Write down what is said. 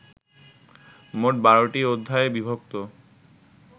মোট ১২টি অধ্যায়ে বিভক্ত